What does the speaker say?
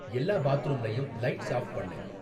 எல்லா பாத்ரூம்லையும் lights off பண்ணு